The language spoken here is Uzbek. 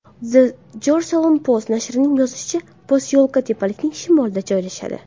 The Jerusalem Post nashrining yozishicha, posyolka tepalikning shimolida joylashadi.